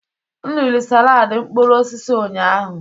M riri saladi mkpụrụ osisi ụnyahụ.